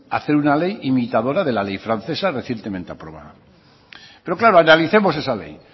hacer una ley imitadora de la ley francesa recientemente aprobada pero claro analicemos esa ley